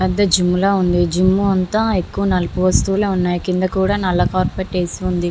పెద్ధ జిమ్ లా ఉంది జిమ్ అంతా ఎక్కువ నలుపు వస్తువులే ఉన్నాయి. కింద కూడా నల్ల కార్పెట్ ఏసి ఉంది.